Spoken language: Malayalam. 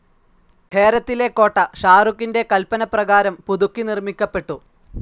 ഹേരത്തിലെ കോട്ട ഷാരുഖിൻ്റെ കൽപ്പനപ്രകാരം പുതുക്കി നിർമ്മിക്കപ്പെട്ടു.